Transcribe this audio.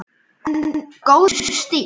En góður stíll!